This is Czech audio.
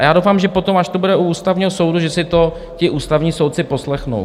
A já doufám, že potom, až to bude u Ústavního soudu, že si to ti ústavní soudci poslechnou.